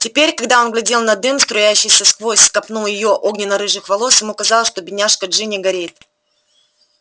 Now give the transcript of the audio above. теперь когда он глядел на дым струящийся сквозь копну её огненно-рыжих волос ему казалось что бедняжка джинни горит